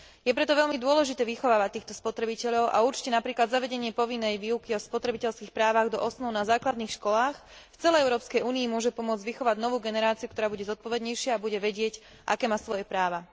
Je preto veľmi dôležité vychovávať týchto spotrebiteľov a napríklad zavedenie povinnej výučby o spotrebiteľských právach do osnov na základných školách v celej Európskej únii môže určite pomôcť vychovať novú generáciu, ktorá bude zodpovednejšia a bude vedieť, aké sú jej práva.